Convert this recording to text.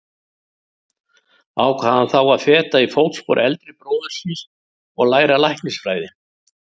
Ákvað hann þá að feta í fótspor eldri bróður síns og læra læknisfræði.